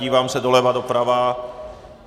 Dívám se doleva, doprava.